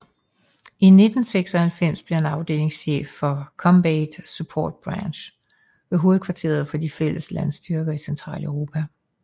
I 1996 blev han afdelingschef for Combat Support Branch ved hovedkvarteret for de fælles landstyrker i Centraleuropa